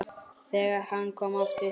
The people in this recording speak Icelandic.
Þegar hann kom aftur til